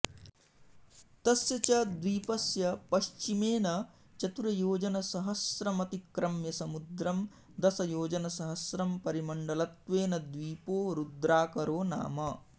तस्य च द्वीपस्य पश्चिमेन चतुर्योजनसहस्रमतिक्रम्य समुद्रं दशयोजनसहस्रं परिमण्डलत्वेन द्वीपो रुद्राकरो नाम